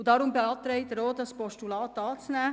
Deshalb beantragt er auch, das Postulat anzunehmen.